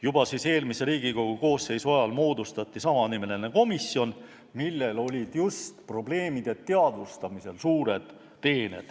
Juba eelmise Riigikogu koosseisu ajal moodustati samanimeline komisjon, millel olid just probleemide teadvustamisel suured teened.